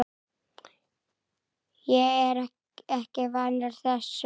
Ég er ekki vanur þessu.